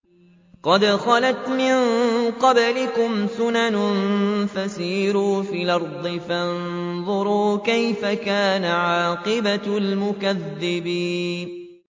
قَدْ خَلَتْ مِن قَبْلِكُمْ سُنَنٌ فَسِيرُوا فِي الْأَرْضِ فَانظُرُوا كَيْفَ كَانَ عَاقِبَةُ الْمُكَذِّبِينَ